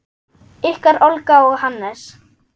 Ykkar Olga og Hannes.